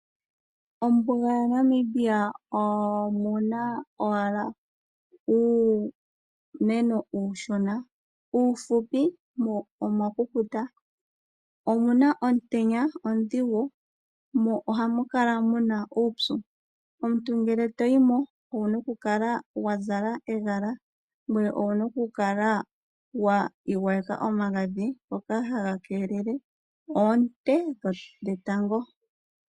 Mombuga yaNamibia omuna owala uumeno uushona , uufupi mo omwakukuta. Omuna omutenya omaudhigu, mo ohamu kala muna uupyu . Omuntu ngele toyimo owuna okukala wazala ehala ngoye twiigwayeke omagadhi ngoka haga keelele oonte dhetango.